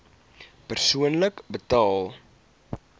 persoonlik betaal